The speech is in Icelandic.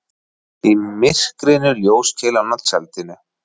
Í myrkrinu ljóskeilan á tjaldinu.